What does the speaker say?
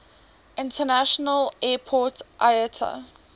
international airport iata